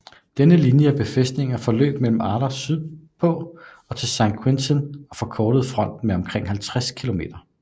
Denne linje af befæstninger forløb fra Arras sydpå til St Quentin og forkortede fronten med omkring 50 km